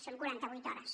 són quaranta vuit hores